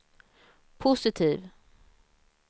positiv